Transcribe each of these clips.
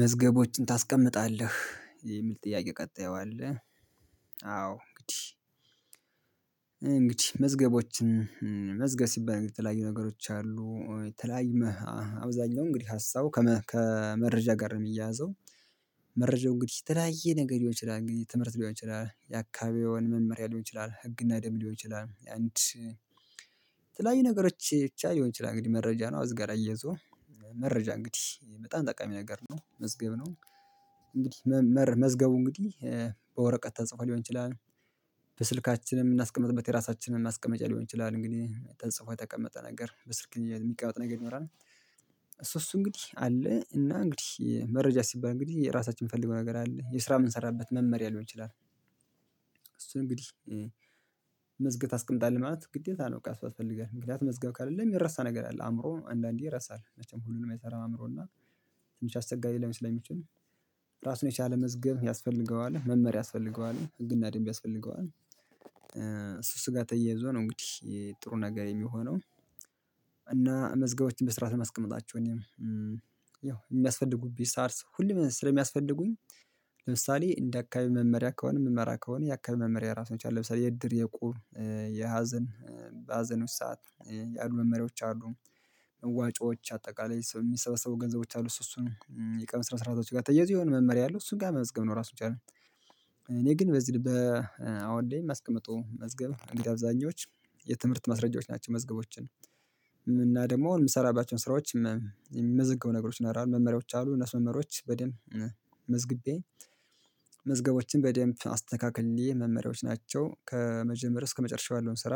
መዝገቦችን ታስቀምጣለህ የሚል ጥያቄ ቀጣይ አለ? አዎ እንግዲህ እንግዲህ መዝገቦችን መዝገብ ሲባል የተለያዩ ነገሮች አሉ የተለያዩ አብዛኛው እንግዲህ ሀሳቡ ከመረጃ ጋር ነው የሚያያዘው። መረጃው እንግዲህ የተለያየ ነገር ሊሆን ይችላል እንግዲህ ትምህርት ሊሆን ይችላል የአካባቢውን መመሪያ ሊሆን ይችላል ህግና ደንብ ሊሆን ይችላል አንድ የተለያዩ ነገሮች ብቻ ሊሆን ይችላል እንግዲህ መረጃ ነው ከዚህ ጋር አያይዞ መረጃ እንግዲህ በጣም ጠቃሚ ነገር ነው መዝገብ ነው። እንግዲህ መመር መዝገቡ እንግዲህ በወረቀት ተጽፎ ሊሆን ይችላል በስልካችን የምናስቀምጥበት የራሳችንን ማስቀመጫ ሊሆን ይችላል እንግዲህ ተጽፎ የተቀመጠ ነገር በስልክ የሚቀመጥ ነገር ይኖራል። እሱ እሱ እንግዲህ አለ እና እንግዲህ መረጃ ሲባል እንግዲህ የራሳችን የምንፈልገው ነገር አለ የስራ የምንሰራበት መመሪያ ሊሆን ይችላል። እሱንእንግዲህ መዝግበህ ታስቀምጣለህ ማለት ግዴታ ነው። በቃ እሱ ያስፈልግሃል ምክንያቱም መዝገብ ክሌለህ የሚረሳ ነገር አለ አእምሮ አንዳንዴ ይረሳል መቼም ሁሉን አይሰራም አእምሮ እና ትንሽ አስቸጋሪ ሊሆን ስለሚችል ራሱን የቻለ መዝገብ ያስፈልገዋል መመሪያ ያስፈልገዋል ህግና ደንብ ያስፈልገዋል። እሱ ጋር ተያይዞ ነው እንግዲህ ጥሩ ነገር የሚሆነው። እና መዝገቦችን በስርዓት ነው የማስቀመጣችሁ እኔም ያው የሚያስፈልጉኝ ሰዓት ሁሌም ስለሚያስፈልጉኝ ለምሳሌ እንደ አካባቢ መመሪያ ከሆነ የምመራ ከሆነ የአካባቢ መመሪያ ራሱን የቻለ የእድር የእቁብ የሀዘን ሀዘን ውስጥ ሰዓት ያሉ መመሪያዎች አሉ መዋጮዎች አጠቃላይ የሚሰበሰቡ ገንዘቦች አሉ እሱ እሱን የቀን ስነስርአቶች ጋር ተያይዞ የሆነ መመሪያ አለው እሱን ጋር መመዝገብ ነው ራሱን ይቻላል። እኔ ግን በዚህ አሁን ላይ ማስቀምጠውም መዝገብ እንግዲህ አብዛኞቹ የትምህርት ማስረጃዎች ናቸው መዝገቦችን እና ደግሞ የምሰራባቸውን ስራዎች የሚመዘገቡ ነገሮች ይኖራሉ መመሪያዎች አሉ እነሱ መመሪያዎች በደንብ መዝግቤ መዝገቦችን በደንብ አስተካክዬ መመሪያዎች ናቸው። ከመጀመሪያ እስከመጨረሻው ያለውን ስራ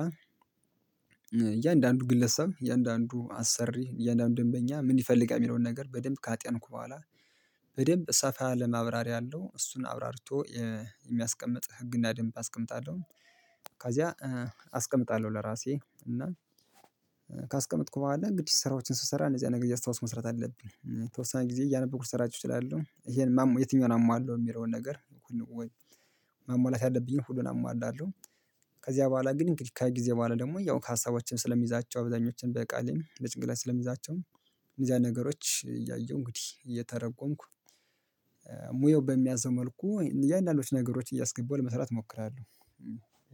እያንዳንዱ ግለሰብ እያንዳንዱ አሰሪ እያንዳንዱን ደንበኛ ምን ይፈልጋል የሚለውን ነገር በደንብ ካጤንኩ በኋላ በደንብ ሰፋ ያለ ማብራሪያ አለው እሱን አብራርቶ የሚያስቀምጥ ህግና ደንብ አስቀምጣለሁ። ከዚያ አስቀምጣለሁ ለራሴ እና ካስቀመጥኩ በኋላ እንግዲህ ስራዎችን ስሰራ እነዚያን ነገሮ እያስታወስኩ መስራት አለብኝ የተወሰነ ጊዜ እያነበብኩ ልሰራቸው እችላለሁ ይህን የትኛውን ሟላለሁ የሚለውን ነገር ማሟላት ያለብኝን ሁሉን አሟላለሁ። ከዚያ በኋላ ግን እንግዲህ ከዚህ ጊዜ በኋላ ደግሞ ያው ሀሳቦችን ስለሚይዛቸው አብዛኞቹን በቃልም በጭንቅላትም ስለሚይዛቸውም እንደዚህ አይነት ነገሮች እያየሁ እንግዲህ እየተረጎምኩ ሙያው በሚያዘው መልኩ እያንዳንዱን ነገሮች እያስገባሁ ለመስራት እሞክራለሁ።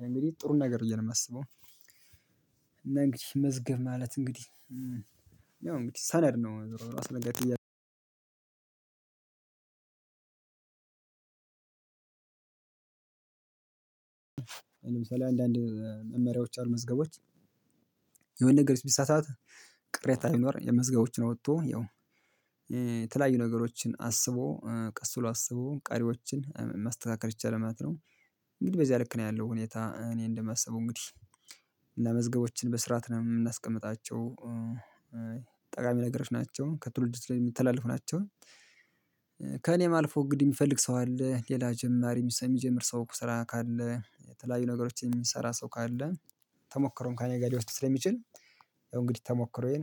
እንግዲህ ጥሩን ነገር እያለ ነው የማስበው እና እንግዲህ መዝገብ ማለት እንግዲህ ያው እንግዲህ ሰነድ ነው ለምሳሌ አንዳንድ መመሪያዎች አሉ መዝገቦች የሆነ ነገር ቢሳሳት ቅሬታ ሊኖር የመዝገቦችን አውጥቶ ያው የተለያዩ ነገሮችን አስቦ ቀስ ብሎ አስቦ ቀሪዎችን ማስተካከል ይቻላል ማለት ነው። እንግዲህ በዚያ ልክ ነው ያለው ሁኔታ እኔ እንደማስበው እንግዲህ እና መዝገቦችን በስርዓት ነው የምናስቀምጣቸው። ጠቃሚ ነገሮች ናቸው ከትውልድ ላይ የሚተላለፉ ናቸው። ከእኔም አልፎ እንግዲህ የሚፈልግ ሰው አለ ሌላ ጀማሪ የሚጀምር ሰው ስራ ካለ የተለያዩ ነገሮችን የሚሰራ ሰው ካለ ተሞክሮም ከኔ ጋር ሊወስድ ስለሚችል ያው እንግዲህ ተሞክሮዬን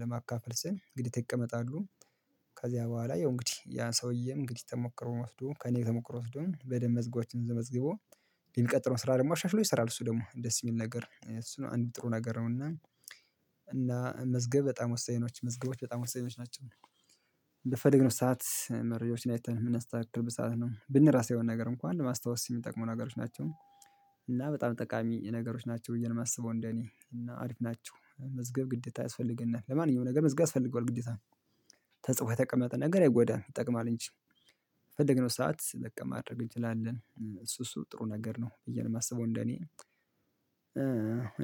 ለማካፈል ስል ግዴታ ይቀመጣሉ። ከዚያ በኋላ ያው እንግዲህ ያ ሰውም እንግዲህ ተሞክሮ ወስዶ ከእኔ ተሞክሮ ወስዶም በደንብ መዝገቦችንን መዝግቦ የሚቀጥለውን ስራ ደግሞ አሻሽሎ ይሰራል እሱ ደግሞ ደስ የሚል ነገር እሱ አንድ ጥሩ ነገር ነው። እና እና መዝገብ በጣም ወሳኝ ነው መዝገቦች በጣም ወሳኞች ናቸው። በፈለግነው ሰዓት መረጃዎችን አይተን የምናስተካክልበት ሰዓት ነው ብነረሳ የሆነ ነገር እንኳን ማስታወስ የሚጠቅሙ ነገሮች ናቸው። እና በጣም ጠቃሚ ነገሮች ናቸው ብዬ ነው የማስበው እንደኔ እና አሪፍ ናቸው መዝገብ ግዴታ ያስፈልገናል ለማንኛውም ነገር መዝገብ ያስፈልገዋል ግዴታ ተጽፎ የተቀመጠ ነገር አይጎዳም ይጠቅማል እንጂ በፈለግነው ሰዓት ለማድረግ እንችላለን እሱ እሱ ጥሩ ነገር ነው ብዬ ነው የማስበው እንደኔ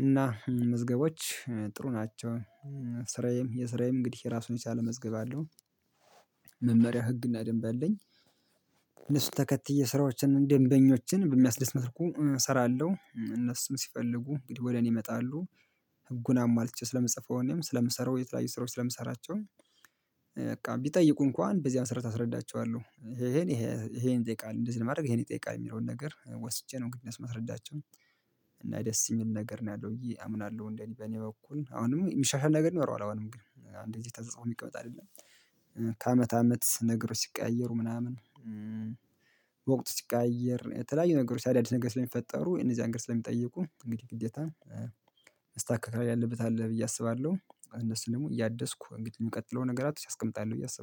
እና መዝገቦች ጥሩ ናቸው። ስራዬም የስራዬም እንግዲህ ራሱን የቻለ መዝገብ አለው። መመሪያ ህግና ደንብ አለኝ። እነሱን ተከትዬ ስራዎችን ደንበኞችን በሚያስደስት መልኩ እሰራለሁ እነሱም ሲፈልጉ እንግዲህ ወደ እኔ ይመጣሉ። ህጉን አሟልቼ ስለምጽፈው እኔም ስለምሰራው የተለያዩ ስራዎች ስለምሰራቸውም በቃ ቢጠይቁ እንኳን በዚያ መሰረት አስረዳቸዋለሁ። ይሄን ይሄን ይጠይቃል እንደዚህ ለማድረግ ይሄን ይጠይቃል የሚለውን ነገር ወስጄ ነው እንግዲህ ማስርዳቸው እና ደስ የሚል ነገር ነው ያለው ብዬ አምናለሁ እንደኔ በእኔ በኩል አሁንም የሚሻሻል ነገር ይኖረዋል አሁንም ግን እንደዚህ ተጽፎ የሚቀመጥ አይደለም። ከአመት አመት ነገሮች ሲቀያየሩ ምናምን ወቅት ሲቀያየር የተለያዩ ነገሮች አዳዲስ ነገር ስለሚፈጠሩ እነዚያ ነገሮች ስለሚጠይቁ እንግዲህ ግዴታ መስተካከል ያለበት አለ ብዬ አስባለሁ። እነሱን ደግሞ እያደስኩ እንግዲህ የሚቀጥለው ነገራት አስቀምጣል ብዬ አስባለሁ